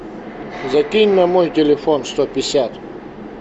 закинь на мой телефон сто пятьдесят